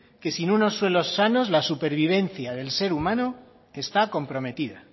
que sin unos suelos sanos la supervivencia del ser humano está comprometida